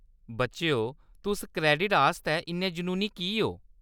बच्चेओ, तुस क्रेडिटें आस्तै इन्ने जुनूनी की ओ?